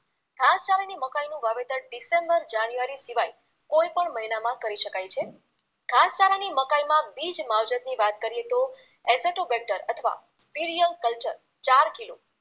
મકાઈનુંં વાવેતર December January સિવાય કોઈપણ મહિનામાં કરી શકાય છે ઘાસચારાની મકાઈમાં બીજ માવજતની વાત કરીએ તો એસેટોબેક્ટર અથવા પિર્યકલ્ચર ચાર કિલો